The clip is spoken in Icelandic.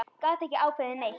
Gat ekki ákveðið neitt.